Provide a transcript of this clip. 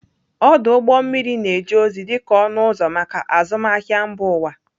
Ọdụ ụgbọ mmiri na-eje ozi dị ka ọnụ ụzọ maka azụmahịa mba ụwa.